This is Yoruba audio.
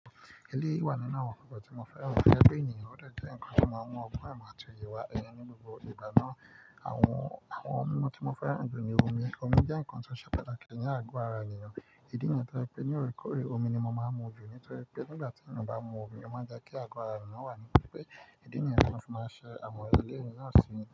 Elé yìí wà nínú àwọn nǹkan tí mo fẹ́ rà. Gẹ́gẹ́ bí ènìyàn, òọ̀dẹ̀ jẹ́ nǹkan tí mo máa ń mú. Ọ̀gwún ìmọ́-àti-yè wà ẹni ní gbogbo ìgbà náà. Àwọn, àwọn nǹkan tí mo fẹ́ ràn jù ni omi. Omi jẹ́ nǹkan tó ṣẹ pẹ́ẹ́lẹ́ kì í ní àgó ara ènìyàn. Èdí ni ẹnìkan pé ní òrékóré, omi ni mo máa ń mú jù. Nítorí pé nígbà tí ènìyàn bá mu omi, ó máa já kí àgó ara ènìyàn wà nípa pé idí ni yẹn fi máa ṣe àmọ̀yé. Eléyìí ni à ń ṣe ní.